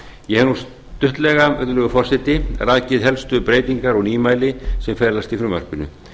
ég hef nú stuttlega virðulegur forseti rakið helstu breytingar og nýmæli sem felast í frumvarpinu